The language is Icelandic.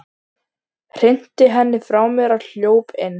Hrinti henni frá mér og hljóp inn.